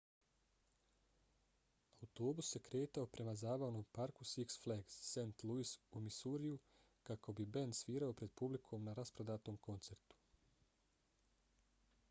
autobus se kretao prema zabavnom parku six flags st. louis u missouriju kako bi bend svirao pred publikom na rasprodatom koncertu